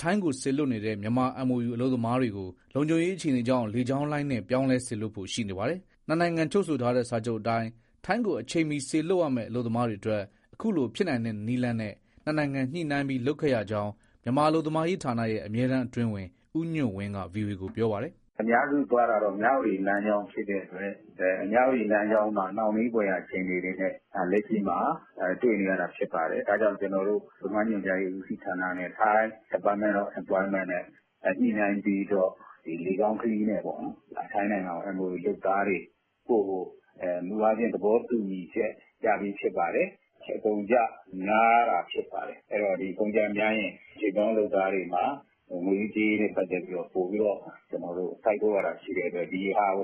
ထိုင်းကိုစေလွှတ်နေတဲ့ မြန်မာ MoUအလုပ်သမားတွေကို လုံခြုံရေးအခြေအနေကြောင့် လေကြောင်းလိုင်းနဲ့ ပြောင်းလဲ စေလွှတ်ဖို့ရှိနေပါတယ်။ နှစ်နိုင်ငံချုပ်ဆိုထားတဲ့ စာချုပ်အတိုင်း ထိုင်းကိုအချိန်မီစေလွှတ်ရမဲ့ အလုပ်သမားတွေအတွက် အခုလို ဖြစ်နိုင်တဲ့နည်လမ်းနဲ့ နှစ်နိုင်ငံညှိနှိုင်းပြီး လုပ်ခဲ့ရကြောင်း မြန်မာအလုပ်သမားရေးဌာနရဲ့ အမြဲတမ်းအတွင်းဝန် ဦးညွန့်ဝင်းက ဗွီအိုအေကို ပြောပါတယ်။ " အများစုသွားတာက မြဝတီလမ်းကြောင်း ဖြစ်တဲ့အတွက် မြဝတီလမ်းကြောင်းမှာ နှောင့်နှေးဖွယ်ရာ အခြေအနေတွေနဲ့ လက်ရှိမှာ တွေ့နေရတာဖြစ်ပါတယ်။ ဒါကြောင့်ကျနော်တို့ အလုပ်သမားညွှန်ကြားရေး ဦးစီးဌာနနဲ့ ထိုင်း Department of Employment နဲ့ ညှိနှိုင်းပြီးတော့ လေကြောင်းခရီးနဲ့ ထိုင်းနိုင်ငံကို MoU လုပ်သားတွေပို့ဖို့ မူအားဖြင့် သဘောတူညီချက် ရပြီးဖြစ်ပါတယ်။အကုန်အကျများတာ ဖြစ်ပါတယ်။ အကုန်အကျများရင် ရွှေ့ပြောင်းအလုပ်သမားတွေမှာ ငွေရေးကြေးရေးနဲ့ ပတ်သက်ပြီးတော့ ပိုပြီး စိုက်ထုတ်ရတာ ရှိတဲ့အတွက် ဒီဟာကို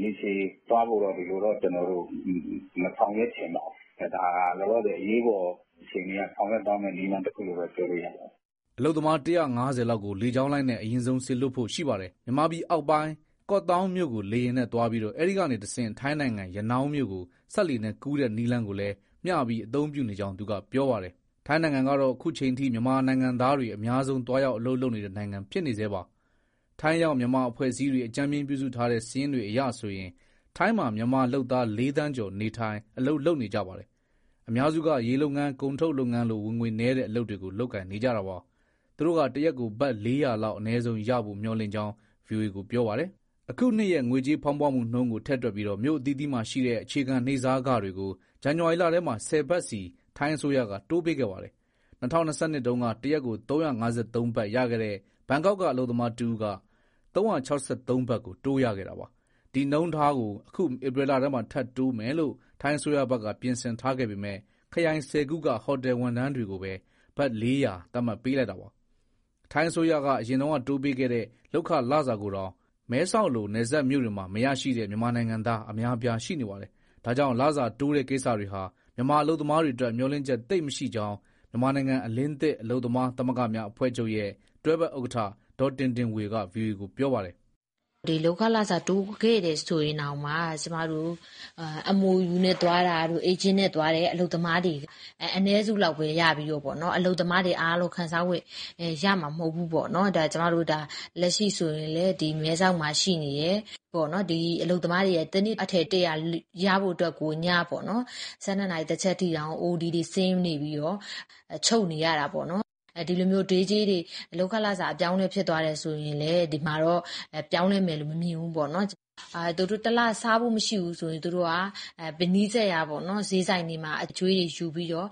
ရေရှည်သွားဖို့ မဆောင်ရွက်ချင်ပါဘူး။ ဒါဟာ လောလောဆယ်အရေးပေါ် အခြေအနေအရ ဆောင်ရွက်သွားမဲ့ နည်းလမ်းတခုလို့ ပြောလို့ရပါတယ်။" အလုပ်သမား ၁၅၀ လောက်ကို လေကြောင်းလိုင်းနဲ့ အရင်ဆုံးစေလွှတ်ဖို့ရှိပါတယ်။ မြန်မာပြည်အောက်ပိုင်း ကော့သောင်းမြို့ကို လေယာဉ်နဲ့သွားပြီး အဲဒီကနေ ထိုင်းနိုင်ငံ ရနောင်းမြို့ကို စက်လှေနဲ့ကူးတဲ့ နည်းလမ်းကိုလည်း မျှပြီးအသုံးပြုနေကြောင်း သူကပြောပါတယ်။ ထိုင်းနိုင်ငံကတော့ အခုအချိန်အထိ မြန်မာနိုင်ငံသားတွေ အများဆုံးသွားရောက် အလုပ်လုပ်နေတဲ့ နိုင်ငံဖြစ်နေဆဲပါ။ ထိုင်းရောက် မြန်မာအဖွဲ့အစည်းတွေ အကြမ်းဖျင်းပြုစုထားတဲ့ စာရင်းတွေအရဆိုရင် ထိုင်းမှာ မြန်မာလုပ်သား ၄ သန်းကျော် နေထိုင်၊ အလုပ်လုပ်နေကြပါတယ်။ အများစုက ရေလုပ်ငန်း၊ ကုန်ထုတ်လုပ်ငန်းလို ဝင်ငွေနည်းတဲ့ အလုပ်တွေကို လုပ်ကိုင်နေကြတာပါ။ သူတို့က တရက်ကို ဘတ်၄၀၀လောက် အနည်းဆုံးရဖို့ မျှော်လင့်ကြောင်း ဗွီအိုအေကို ပြောပါတယ်။ အခုနှစ်ရဲ့ ငွေကြေးဖောင်းပွနှုန်းကို ထည့်တွက်ပြီး မြို့အသီးသီးမှာရှိတဲ့ အခြေခံနေ့စားခတွေကို ဇန်နဝါရီလထဲမှာ ၁၀ ဘတ်စီ ထိုင်းအစိုးရက တိုးပေးခဲ့ပါတယ်။ ၂၀၂၂ တုန်းက တရက်ကို ၃၅၃ ဘတ်ရခဲ့တဲ့ ဘန်ကောက်က အလုပ်သမားတဦးက ၃၆၃ ဘတ်ကို တိုးရခဲ့တာပါ။ ဒီနှုန်းထားကို အခု ဧပြီလထဲမှာ ထပ်တိုးပေးမယ်လို့ ထိုင်းအစိုးရဘက်က ပြင်ဆင်ထားခဲ့ပေမဲ့ ခရိုင်ဆယ်ခုက ဟိုတယ်ဝန်ထမ်းတွေကိုပဲ ဘတ် ၄၀၀ သတ်မှတ်ပေးလိုက်တာပါ။ ထိုင်းအစိုးရအရင်ကတိုးပေးခဲ့တဲ့ လုပ်ခလစာကိုတောင် မဲဆောက်လိုနယ်စပ်မြို့တွေမှာ မရရှိတဲ့ မြန်မာနိုင်ငံသား အများအပြားရှိနေပါတယ်။ ဒါကြောင့် လစာတိုးတဲ့ကိစ္စတွေဟာ မြန်မာအလုပ်သမားတွေအတွက် မျှော်လင့်ချက်သိပ်မရှိကြောင်း မြန်မာနိုင်ငံ အလင်းသစ် အလုပ်သမားသမဂ္ဂများအဖွဲ့ချုပ်ရဲ့ တွဲဖက်ဥက္ကဋ္ဌ ဒေါ်တင်တင်ဝေက ဗွီအိုအေကို ပြောပါတယ်။ " လုပ်ခလစာ တိုးခဲ့တယ်ဆိုရင်တောင်မှ MoU နဲ့သွားတဲ့၊ အေးဂျင့်နဲ့သွားတဲ့ အလုပ်သမားတွေ အနည်းစုလောက်ပဲ ရပြီးတော့ အလုပ်သမားတွေအားလုံး ခံစားခွင့်ရမှာ မဟုတ်ဘူးပေါ့နော်။ လက်ရှိဆိုရင်လည်း မဲဆောက်မှာရှိနေတဲ့ အလုပ်သမားတွေက တနေ့အထည် ၁၀၀ ရဖို့အတွက်ကို ည၁၂နာရီ ၁ချက်အထိတောင် အိုတီတွေဆင်းနေပြီးတော့ ချုပ်နေရတာပေါ့နော်။ ဒီလိုမျိုး day ကြေးတွေ လုပ်ခလစာ အပြောင်းအလဲ ဖြစ်သွားတယ်ဆိုရင်လည်း ဒီမှာတော့ ပြောင်းလဲမယ်လို့ မမြင်ဘူးပေါ့နော်။ သူတို့တလစားဖို့ မရှိဘူးဆိုရင် သူတို့က နီးစပ်ရာစျေးဆိုင်တွေမှာ အကြွေးတွေယူပြီးတော့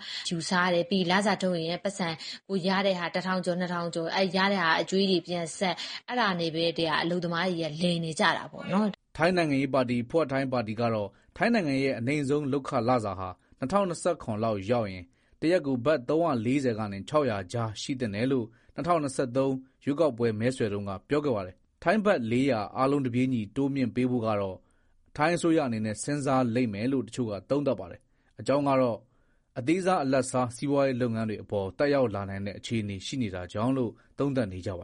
စားတယ်။ လစာထုတ်ရင် ရတဲ့ ၁၀၀၀ ကျော် ၂၀၀၀ အဲဒီရတဲ့ဟာ အကြွေးတွေပြန်ဆပ်၊ အဲဒါနဲ့ပဲ အလုပ်သမားတွေက လည်နေကြတာပေါ့နော်။" ထိုင်းနိုင်ငံရေးပါတီ Pheu Thai ပါတီကတော့ ထိုင်းနိုင်ငံရဲ့ အနိမ့်ဆုံး လုပ်ခလစာဟာ ၂၀၂၇ လောက်ရောက်ရင် တရက်ကို ဘတ် ၃၄၀ ကနေ ၆၀၀ ကြားရှိသင့်တယ်လို့ ၂၀၂၃ ရွေးကောက်ပွဲမဲဆွယ်တုန်းက ပြောခဲ့ပါတယ်။ ဘတ် ၄၀၀ အားလုံးတပြေးညီ တိုးမြှင့်ပေးဖို့ကတော့ ထိုင်းအစိုးရအနေနဲ့ စဉ်းစားလိမ့်မယ်လို့ တချို့ကသုံးသပ်ပါတယ်။ အကြောင်းကတော့ အသေးစား အလတ်စား စီးပွားရေးလုပ်ငန်းတွေအပေါ် သက်ရောက်လာနိုင်တဲ့ အခြေအနေ ရှိနေတာကြောင့်လို့ သုံးသပ်နေကြတာပါ